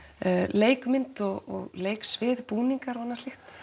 leikmynd og leiksvið búningar og annað slíkt